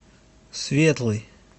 светлый